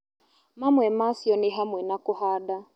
Mamwe macio nĩ hamwe na kũhanda